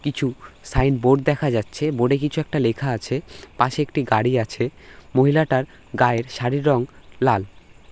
কিছু সাইনবোর্ড দেখা যাচ্ছে। বোর্ড -এ কিছু একটা লেখা আছে। পাশে একটি গড়ি আছে। মহিলাটার গায়ের শাড়ির রং লাল।